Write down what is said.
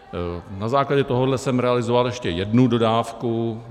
Na základě tohoto jsem realizoval ještě jednu dodávku.